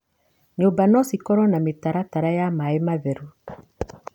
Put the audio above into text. Nyũmba no cikorwo na mĩtaratara ya maĩ matheru.